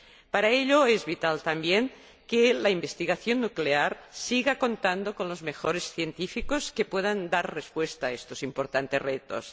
Para ello es vital también que la investigación nuclear siga contando con los mejores científicos, que puedan dar respuesta a estos importantes retos.